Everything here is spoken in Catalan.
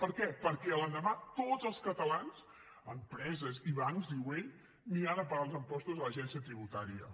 per què perquè a l’endemà tots els catalans empreses i bancs diu ell aniran a pagar els impostos a l’agència tributària